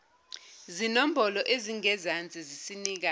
zinombolo ezingezansi zisinika